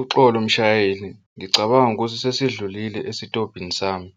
Uxolo mshayeli ngicabanga ukuthi sesidlulile esitobhini sami.